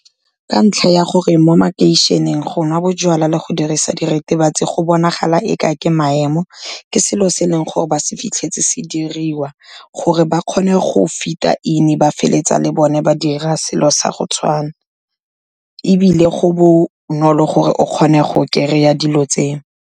Ka ntlha ya gore mo makeišeneng go nwa bojalwa le go dirisa diritibatsi go bonagala e ka ke maemo, ke selo se e leng gore ba se fitlhetse se diriwa. Gore ba kgone go fit-a in, ba feleletsa le bone ba dira selo sa go tshwana, ebile go bonolo gore o kgone go kry-a dilo tseo.